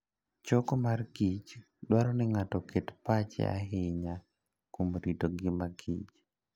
Choko mor kich dwaro ni ng'ato oket pache ahinya kuom rito ngimakich